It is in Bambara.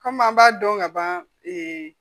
Kɔmi an b'a dɔn ka ban